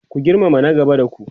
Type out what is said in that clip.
ku girmama na gaba da ku!